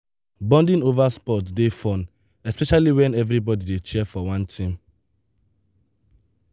bonding over sports dey fun especially when everybody dey cheer for one team.